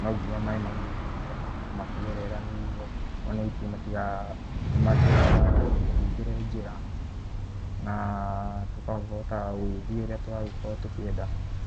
No nginya maĩ magĩetherwo harĩa megũkorwo makĩgerera nĩguo ona ningĩ matigatũhingĩre njĩra, na tũgakĩhota gũgĩthiĩ ũrĩa tũkũenda.